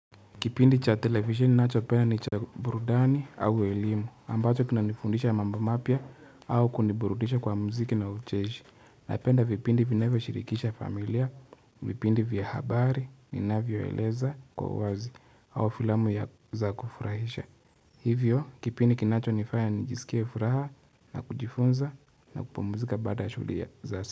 Kipindi cha televisheni ninachopenda ni cha burudani au elimu, ambacho kina nifundisha mambo mapya au kuniburudisha kwa mziki na ucheishi. Napenda vipindi vinavyoshirikisha familia, vipindi vya habari, vinavyoeleza kwa uwazi au filamu ya za kufurahisha. Hivyo, kipindi kinacho nifanya nijisikie furaha na kujifunza na kupumuzika baada ya shughuli ya zaas.